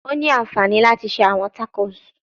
O ni anfani lati ṣe awọn tacos